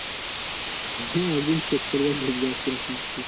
হ্যাঁ একদিন করবে check করবে দেখবে কীরকম,